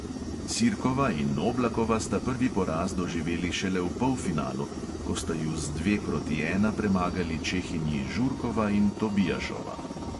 Sirkova in oblakova sta prvi poraz doživeli šele v polfinalu, ko sta ju z dva proti ena premagali čehinji žurkova in tobiašova.